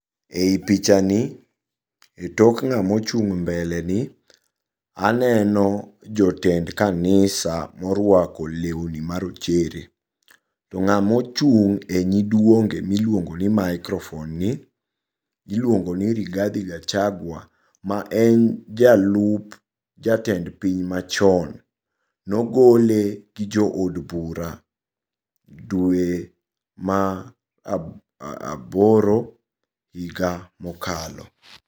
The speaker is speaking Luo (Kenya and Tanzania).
Ei pichani e tok ng'ama ochung' mbeleni aneno jotend kanisa moruako leuni marochere. To ng'ama ochung' e nyiduonge miluongi ni microphone ni iluongoni Rigathi Gachagua maen jalup jatend piny machon. Nogole gi jo od bura dwe ma aboro higa mokalo.